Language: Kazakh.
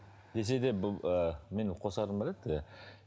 десе де бұл ыыы менің қосарым бар еді иә